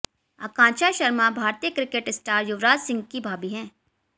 आकांक्षा शर्मा भारतीय cricket star Yuvraj Singh की भाभी हैं